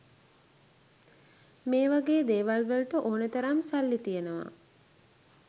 මේ වගේ දේවල් වලට ඕනේ තරම් සල්ලි තියෙනවා.